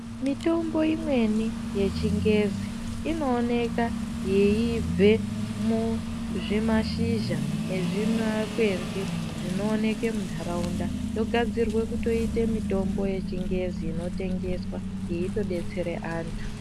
Mitombo imweni yechingezi inooneka yeibve muzvimashizha nezvimakwenzi zvinooneka mundaraunda yogadzirwa kutoita mitombo yechingezi inototengeswa yeitodetsere antu.